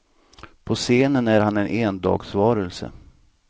På scenen är han en endagsvarelse.